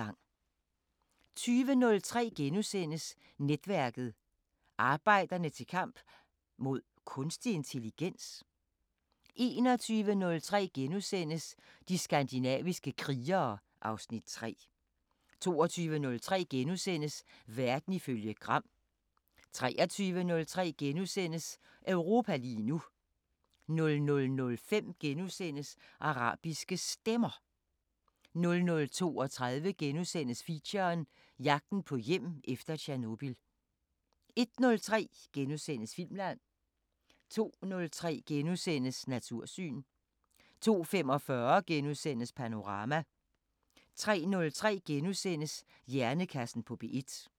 20:03: Netværket: Arbejderne til kamp... mod kunstig intelligens? * 21:03: De skandinaviske krigere (Afs. 3)* 22:03: Verden ifølge Gram * 23:03: Europa lige nu * 00:05: Arabiske Stemmer * 00:32: Feature: Jagten på hjem efter Tjernobyl * 01:03: Filmland * 02:03: Natursyn * 02:45: Panorama * 03:03: Hjernekassen på P1 *